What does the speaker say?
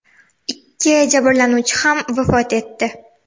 Ikki jabrlanuvchi ham vafot etdi.